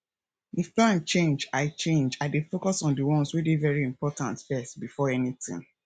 if plan change i change i dey focus on di ones wey dey very important first bifor anytin